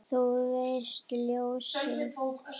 Þú veist, ljósið